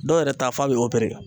Dɔw yɛrɛ ta f'a bi